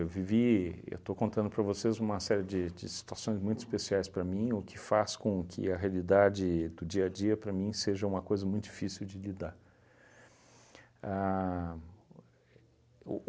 Eu vivi, eu estou contando para vocês uma série de de situações muito especiais para mim, o que faz com que a realidade do dia a dia, para mim, seja uma coisa muito difícil de lidar. A o